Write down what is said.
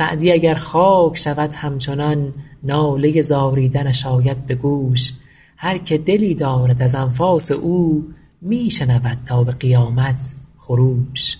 سعدی اگر خاک شود همچنان ناله زاریدنش آید به گوش هر که دلی دارد از انفاس او می شنود تا به قیامت خروش